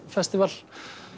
festival